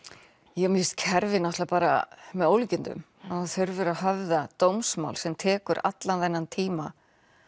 já mér finnst kerfið náttúrulega bara með ólíkindum að þú þurfir að höfða dómsmál sem tekur allan þennan tíma